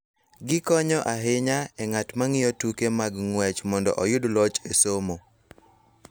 Gikonyo ahinya e ng�at ma ng�iyo tuke mag ng�wech mondo oyud loch e somo.